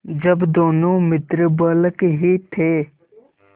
जब दोनों मित्र बालक ही थे